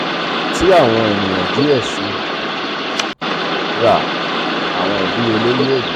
ti awọn eniyan diẹ sii ra awọn idiyele yoo dide.